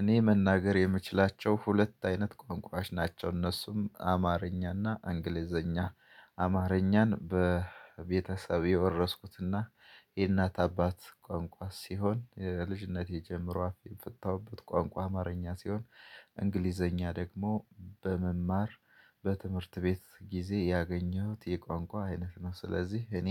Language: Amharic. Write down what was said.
እኔ መናገር የምችላቸው ሁለት አይነት ቋንቋዎች ናቸው እነሱም አማርኛና እንግሊዘኛ። አማርኛን በቤተሰብ የወረስኩትና የእናት አባት ቋንቋ ሲሆን ከልጅነቴ ጀምሮ አፍ የፈታውበት ቋንቋ አማርኛ ሲሆን። እንግሊዘኛ ደግሞ በመማር በትምህርት ቤት ጊዜ ያገኘሁት የቋንቋ አይነት ነው። ስለዚህ እኔ